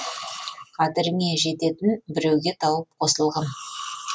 қадіріңе жететін біруге тауып қосылғын